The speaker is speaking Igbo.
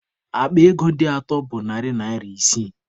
Akpa ego dị atọ bụ narị naira isii.